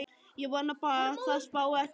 Ég vona bara að það spái ekki roki á morgun.